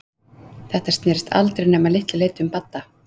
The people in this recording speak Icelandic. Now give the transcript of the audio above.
Þetta snerist aldrei nema að litlu leyti um Badda.